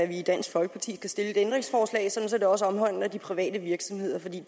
vi i dansk folkeparti skal stille et ændringsforslag sådan at det også omhandler de private virksomheder for det